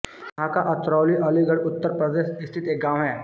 महाका अतरौली अलीगढ़ उत्तर प्रदेश स्थित एक गाँव है